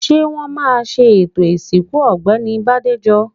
Ṣé wọ́n ma ṣe ètò ìsìnkú Ọ̀gbẹ́ni Bádéjọ?